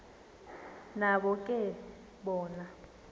nabo ke bona